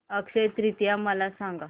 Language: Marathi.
अक्षय तृतीया मला सांगा